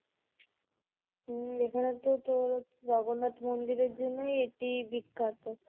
হম এখানে তো তোর জগন্নাথ মন্দিরের জন্যই এটি বিখ্যাত